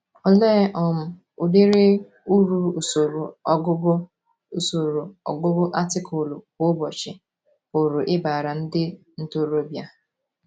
Olee um udiri Uru usoro ọgụgụ usoro ọgụgụ atịkụlụ kwa ụbọchị pụrụ ịbara ndị ntorobịa?